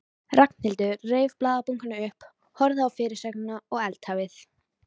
Og heldurðu að maður sé ekki búinn að fá nóg?